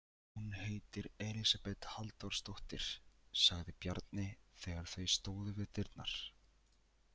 Hún heitir Elísabet Halldórsdóttir, sagði Bjarni þegar þau stóðu við dyrnar.